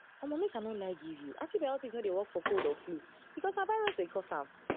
omo make i no lie give you antibiotics no dey work for cold or flu because na virus dey cause am